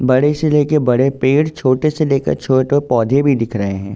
बड़े से लेकर बड़े पेड़ छोटे से लेकर छोटो पौधे भी दिख रहे हैं।